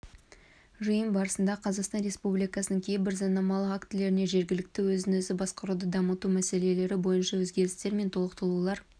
жиын барысында қазақстан республикасының кейбір заңнамалық актілеріне жергілікті өзін-өзі басқаруды дамыту мәселелері бойынша өзгерістер мен толықтырулар